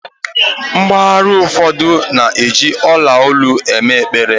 mpaghara ụfọdụ na-eji ola olu eme ekpere